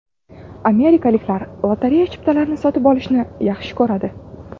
Amerikaliklar lotereya chiptalarini sotib olishni yaxshi ko‘radi.